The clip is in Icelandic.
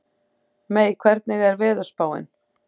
Mey, hvernig er veðurspáin?